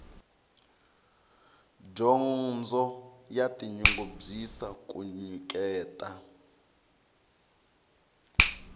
dyondzo ya tinyungubyisa ku nyiketa